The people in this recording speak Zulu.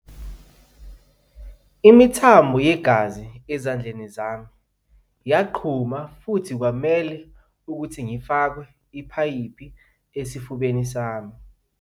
"Imithambo yegazi ezandleni zami yaqhuma futhi kwamele ukuthi ngifakwe ipayipi esifubeni sami."